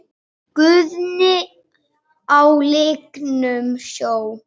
Guðni á lygnum sjó?